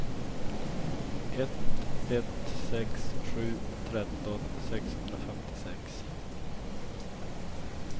ett ett sex sju tretton sexhundrafemtiosex